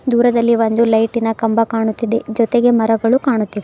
ದೂರದಲ್ಲಿ ಒಂದು ಲೈಟಿ ನ ಕಂಬ ಕಾಣುತ್ತಿದೆ ಜೊತೆಗೆ ಮರಗಳು ಕಾಣುತ್ತಿವೆ.